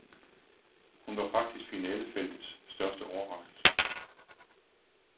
Hun var faktisk finalefeltets største overraskelse.